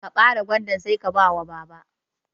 Ka bare gwandan Sai ka bawa baba.